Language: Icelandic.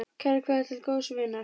Kær kveðja til góðs vinar.